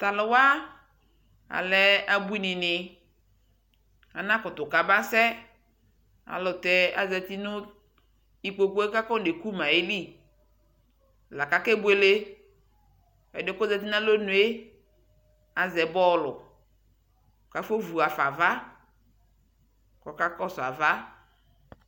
Taluuwa alɛɛ abuini dɛ anakutu kabasɛ ayɛlʋtɛ azati nikpokue kafɔnekumayɛli kake bueleƐdiɛ kɔzati nalɔnue aʒɛbɔɔlu kafovu wafava, kɔkakɔsuava